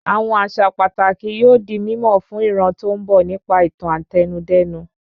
Àwọn àṣà pàtàkì yóò di mímọ̀ fún ìran tó ń bo nípa ìtàn Àtẹnudẹ́nu